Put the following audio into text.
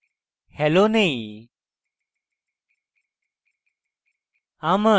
hello নেই